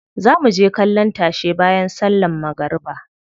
Za muje kallon tashe bayan sallan magariba.